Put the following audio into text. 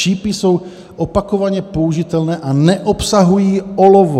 Šípy jsou opakovaně použitelné a neobsahují olovo."